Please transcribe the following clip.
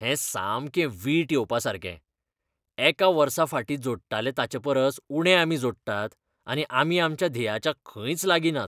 हें सामकें वीट येवपासारकें! एका वर्साफाटीं जोडटाले ताचेपरस उणें आमी जोडटात आनी आमी आमच्या ध्येयाच्या खंयच लागीं नात.